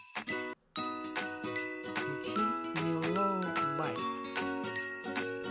включи меллоубайт